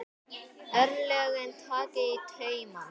Örlögin taka í taumana